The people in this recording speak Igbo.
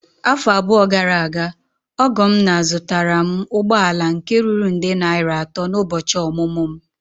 Afọ abụọ gara aga, ọgọ m nna zụtara m ụgbọ ala nke ruru nde naira atọ n'ụbọchị ọmụmụ m.